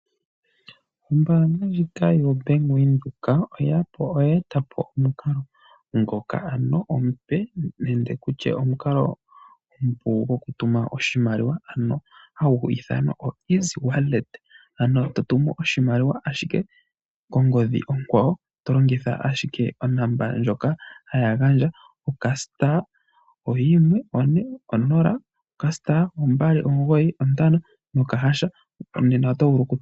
Ombaanga ndjika yoBank Windhoek oye eta po omukalo ngoka ano omupe nenge tutye mukalo omupu gwoku tuma oshimaliwa ano hagu ityanwa oeasy wallet, ano to tumu oshimaliwa kongodhi onkwawo, tolongitha ashike onomola ndjoka haya gandja '*140*295# .